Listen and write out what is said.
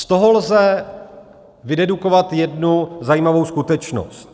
Z tohoto lze vydedukovat jednu zajímavou skutečnosti.